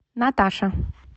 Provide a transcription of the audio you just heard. наташа